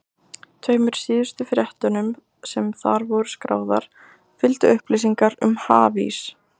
Tveimur síðustu fréttunum, sem þar voru skráðar, fylgdu upplýsingar um hafís.